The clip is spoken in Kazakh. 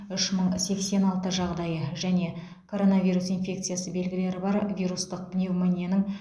үш мың сексен алты жағдайы және коронавирус инфекциясы белгілері бар вирустық пневмонияның